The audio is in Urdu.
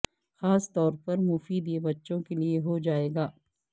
خاص طور پر مفید یہ بچوں کے لئے ہو جائے گا